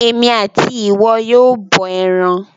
Èmi àti ìwọ yóò bọ ẹran.